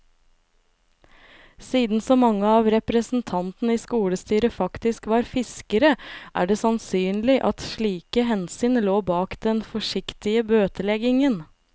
Siden så mange av representantene i skolestyret faktisk var fiskere, er det sannsynlig at slike hensyn lå bak den forsiktige bøteleggingen.